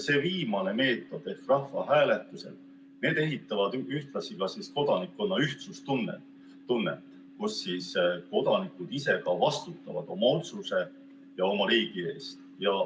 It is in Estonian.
See viimane meetod ehk rahvahääletused ehitavad ühtlasi kodanikkonna ühtsustunnet, kus kodanikud ise ka vastutavad oma otsuse ja oma riigi eest.